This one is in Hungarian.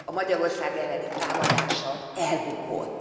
A Magyarország elleni támadása elbukott.